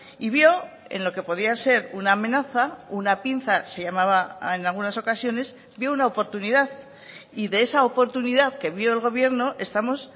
y vio en lo que podía ser una amenaza una pinza se llamaba en algunas ocasiones vio una oportunidad y de esa oportunidad que vio el gobierno estamos